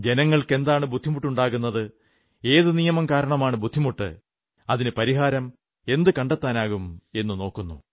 ജനങ്ങൾക്ക് എന്താണ് ബുദ്ധിമുട്ടുണ്ടാകുന്നത് ഏതു നിയമം കാരണമാണ് ബുദ്ധിമുട്ട് അതിനു പരിഹാരം എന്തു കണ്ടെത്താനാകും എന്നു നോക്കുന്നു